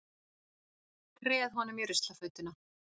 Treð honum í ruslafötuna.